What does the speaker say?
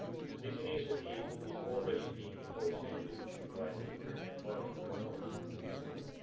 This initiative is already being negotiated by the European Parliament and the Council, as you know.